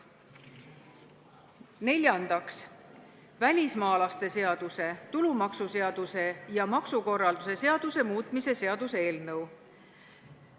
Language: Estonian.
Neljandaks, välismaalaste seaduse, tulumaksuseaduse ja maksukorralduse seaduse muutmise seaduse eelnõu.